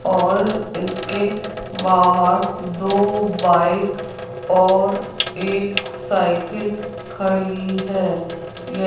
और इसके बाहर दो बाइक और एक साइकिल खड़ी है य --